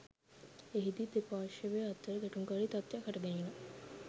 එහිදී දෙපා්ර්ශවය අතර ගැටුම්කාරී තත්වයක් හටගැනිණ